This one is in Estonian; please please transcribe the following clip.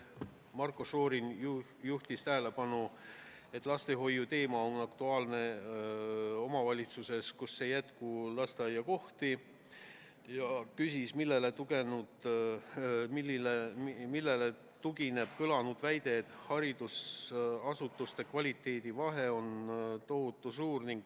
Marko Šorin juhtis tähelepanu, et lastehoiuteema on aktuaalne omavalitsustes, kus ei jätku lasteaiakohti, ja küsis, millele tugineb kõlanud väide, et haridusasutuste kvaliteedi vahe on tohutu suur.